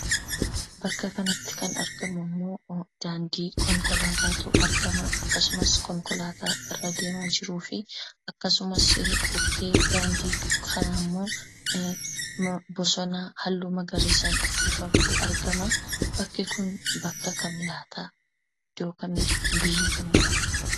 Bakka kanatti kan arginummo, daandii konkolaatatu argama. akkasumas, konkolaata irra deemaa jiruu fi akkasumas, bukkee daandii kana immo bosona hallu magariisan uffifameetu argama. bakki kun, bakka kam laata? iddoo kamiidha?,biyya kamiidhammo?